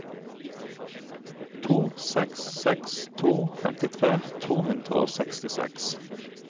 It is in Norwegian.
to seks seks to femtitre to hundre og sekstiseks